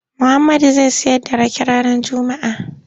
Muhammadu zai sayar da rake ranar Juma'a.